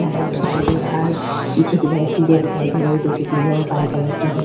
दिखाई दे रहा है । पीछे की तरफ सीढियाँ दिखाई दे रही है जोकि पीले और लाल कलर की हैं।